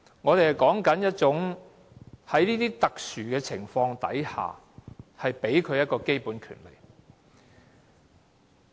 我們說的是，在特殊的情況下，給予他們基本的權利。